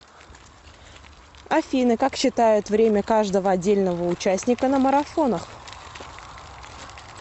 афина как считают время каждого отдельного участника на марафонах